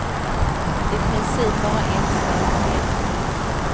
I princip bara ängslan och fientlighet.